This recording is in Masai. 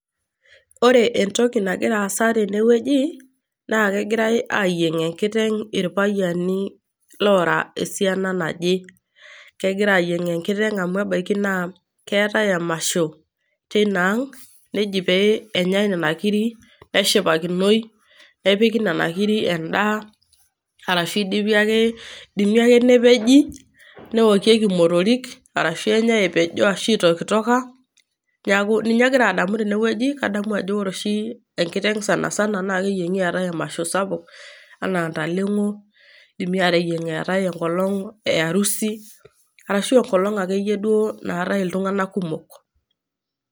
Ore entoki nagira aasa tene wueji, naa kegirai ayieng' enkiteng' irpayiani Lora esiana naje. Kegirai ayieng' enkiteng' amu ebaiki naa keatai emasho te Ina aang', neji pee enyai nena kiri, neshipakinoi, nepiki nena kiri endaa, ashu eidimi ake eidimi ake nepeji, neokieki imotorik, arashu enyai epejo ashu enyai eitokitoka , neaku ninye agira adamu teinewueji. Kadaamu ajo ore enkiteng' oshi sanisana naa keyieng'i eatai emasho sapuk, anaa intaleng'o , eidimi ateyieng' eatai enkolong' e arusii arashu enkolong' ake iyie duo naaatai iltung'ana kumok.